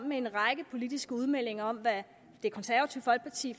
med en række politiske udmeldinger om hvad det konservative folkeparti